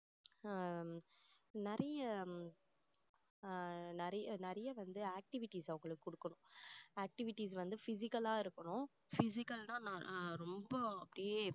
ஆஹ் நிறைய ஆஹ் நிறைய நிறைய வந்து activities அவங்களுக்கு கொடுக்கணும் activities வந்து physical ஆ இருக்கணும் physical னா ரொம்ப அப்படியே